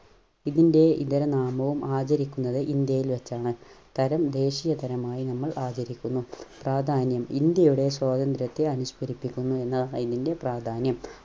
ഇതിന്റെ ഇതര നാമവും ആദരിക്കുന്നത് ഇന്ത്യയിൽ വെച്ചാണ്. തരം ദേശീയ തരമായി നമ്മൾ ആദരിക്കുന്നു. പ്രാധാന്യം ഇന്ത്യയുടെ സ്വാതന്ത്ര്യത്തെ അനുസ്മരിപ്പിക്കുന്നു എന്നതാണ് ഇതിന്റെ പ്രാധാന്യം.